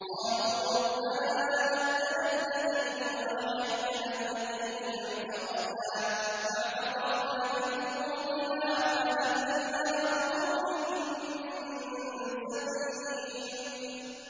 قَالُوا رَبَّنَا أَمَتَّنَا اثْنَتَيْنِ وَأَحْيَيْتَنَا اثْنَتَيْنِ فَاعْتَرَفْنَا بِذُنُوبِنَا فَهَلْ إِلَىٰ خُرُوجٍ مِّن سَبِيلٍ